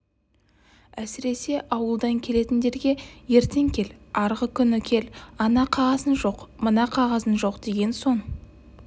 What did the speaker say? әсіресе ауылдан келетіндерге ертең кел арғы күні кел ана қағазың жоқ мына қағазың жоқ деген соң